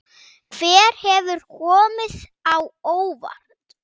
Hver hefur komið á óvart?